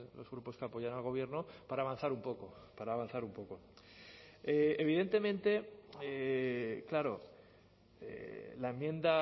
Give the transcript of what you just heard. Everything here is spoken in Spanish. los grupos que apoyan al gobierno para avanzar un poco para avanzar un poco evidentemente claro la enmienda